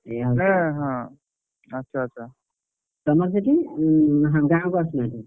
ଏଇଆ ହଉଛି ଆଉ, ନାଇଁ ହଁ, ତମର ସେଠି ଗାଁକୁ ଆସୁନାହାନ୍ତି?